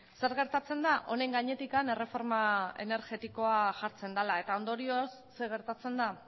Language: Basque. zer gertatzen da honen gainetik erreforma energetikoa jartzen dela eta ondorioz zer gertatzen da